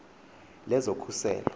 lezokhuselo